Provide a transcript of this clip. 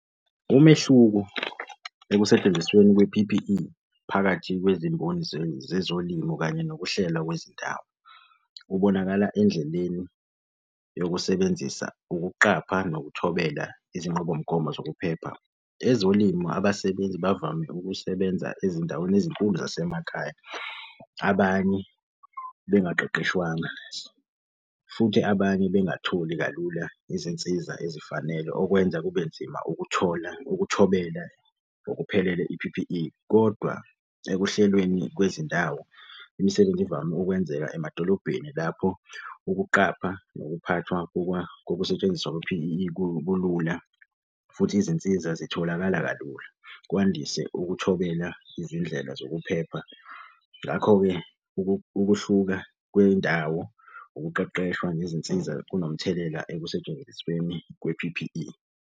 Umehluko ekusentshenzisweni kwe-P_P_E phakathi kwezimboni zezolimo kanye nokuhlelwa kwezindawo. Kubonakala endleleni yokusebenzisa ukuqapha nokuthobela izinqubomgomo zokuphepha. Ezolimo abasebenzi bavame ukusebenza ezindaweni ezinkulu zasemakhaya. Abanye bengaqeqeshwanga, futhi abanye bengatholi kalula izinsiza ezifanele okwenza kube nzima ukuthola ukuthobela ngokuphelele i-P_P_E, kodwa ekuhlelweni kwezindawo, imisebenzi ivame ukwenzeka emadolobheni lapho ukuqapha nokuphathwa kokusetshenziswa kwe-P_P_E kulula futhi izinsiza zitholakala kalula. Kwandise ukuthobela izindlela zokuphepha. Ngakho-ke, ukuhluka kwendawo, ukuqeqeshwa ngezinsiza kunomthelela ekusentshenzisweni kwe-P_P_E.